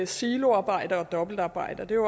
siloarbejde og dobbeltarbejde og det er